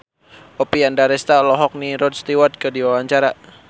Oppie Andaresta olohok ningali Rod Stewart keur diwawancara